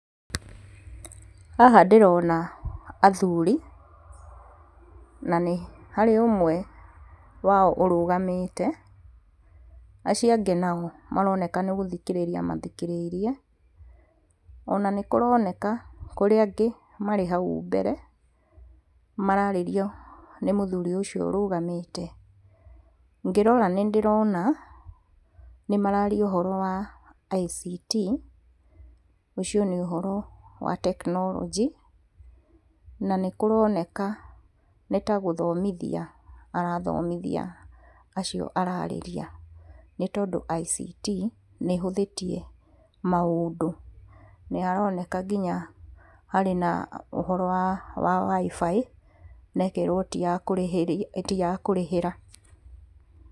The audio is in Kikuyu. Haha ndĩrona athuri, na nĩharĩ ũmwe wao ũrũgamĩte, acio angĩ nao maroneka nĩgũthikĩrĩria mathikĩrĩirie, ona nĩkũroneka, kũrĩ angĩ marĩ hau mbere, mararĩrio nĩ mũthuri ũcio ũrũgamĩte, ngĩrora nĩndĩrona, nĩmararia ũhoro wa ICT, ũcio nĩ ũhoro wa tekinorojĩ, na nĩkũroneka nĩtagũthomithia arathomithia acio ararĩria nĩtondũ ICT nĩhũthĩtie maũndũ. Nĩaroneka nginya harĩ na ũhoro wa wa WI-FI na ĩkerwo ti ya kũrĩhĩra.